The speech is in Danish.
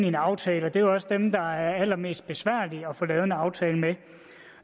en aftale og det er også dem der er allermest besværlige at få lavet en aftale med